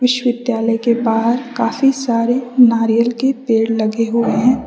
विद्यालय के बाहर काफी सारे नारियल के पेड़ लगे हुए हैं।